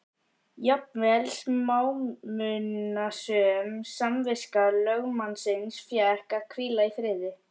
Jafnvel smámunasöm samviska lögmannsins fékk að hvíla í friði.